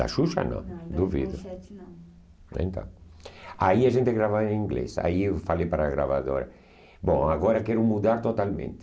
Da Xuxa não, duvido. Então, aí a gente gravava em inglês. Aí eu falei para a gravadora: Bom, agora quero mudar totalmente.